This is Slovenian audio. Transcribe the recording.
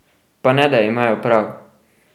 Pa ne, da imajo prav?